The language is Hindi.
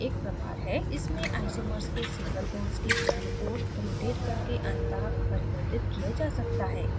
इसमें isomers को single bonds के चारों ओर rotation करके अन्तःपरिवर्तित किया जा सकता है